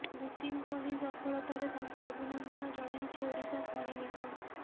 ଦୂତିଙ୍କ ଏହି ସଫଳତାରେ ତାଙ୍କୁ ଅଭିନନ୍ଦନ ଜଣାଇଛି ଓଡ଼ିଶା ଖଣି ନିଗମ